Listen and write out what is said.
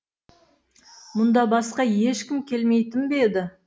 мұнда басқа ешкім келмейтін бе еді